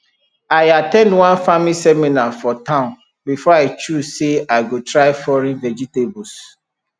i at ten d one farming seminar for town before i choose say i go try foreign vegetables